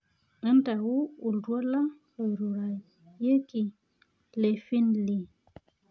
ntayu oltuala loirurayieki lefinlee